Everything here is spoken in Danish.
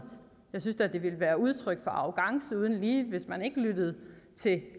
jeg synes da det ville være udtryk for arrogance uden lige hvis man ikke lyttede til